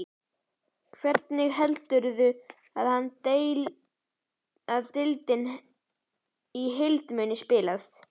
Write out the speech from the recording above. Hvernig heldur hann að deildin í heild muni spilast?